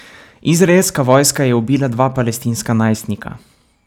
Izraelska vojska je ubila dva palestinska najstnika.